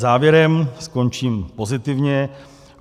Závěrem - skončím pozitivně.